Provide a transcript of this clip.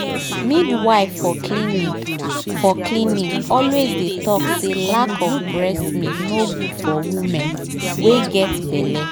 midwife for clinic for clinic always dey talk say lack of breast milk nor good for women wen get belle